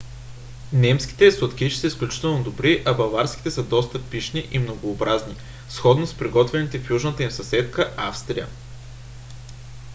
немските сладкиши са изключително добри а баварските са доста пищни и многообразни сходно с приготвяните в южната им съседка австрия